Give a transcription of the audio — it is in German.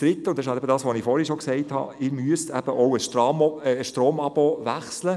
Drittens müsste ich auch das Stromabonnement wechseln.